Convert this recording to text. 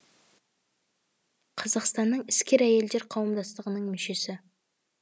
қазақстанның іскер әйелдер қауымдастығының мүшесі